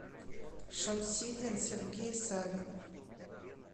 шамсидин сергей савинов